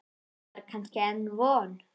Var kannski enn von?